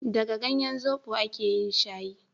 daga ganyen zobo a ke yin shayin